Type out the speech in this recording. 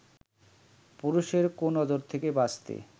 পুরুষের 'কুনজর' থেকে বাঁচতে